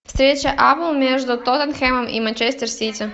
встреча апл между тоттенхэмом и манчестер сити